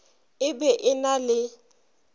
e be e na le